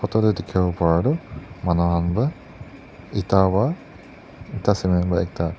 to tae dikhiwo para tu manu khan pa eta pa eta cement pa ekta.